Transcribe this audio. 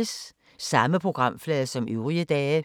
Samme programflade som øvrige dage